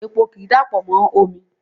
Epo ki i dapọ mo omi